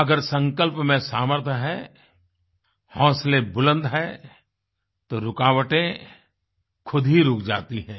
अगर संकल्प में सामर्थ्य है हौसले बुलंद हैं तो रुकावटें खुद ही रुक जाती हैं